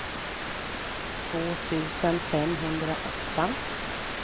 två tusen femhundraåtta